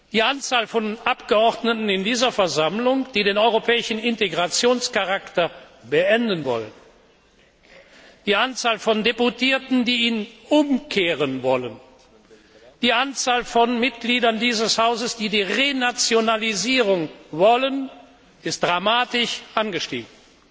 Die Anzahl von Abgeordneten in dieser Versammlung, die den europäischen Integrationscharakter beenden wollen, die Anzahl von Abgeordneten, die ihn umkehren wollen, die Anzahl von Mitgliedern dieses Hauses, die die Renationalisierung wollen, ist dramatisch angestiegen!